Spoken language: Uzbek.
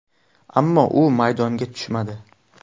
Ammo u maydonga tushmadi.